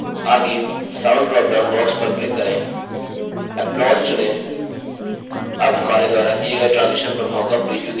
आगे sound dropdown box पर click करें applause चुनें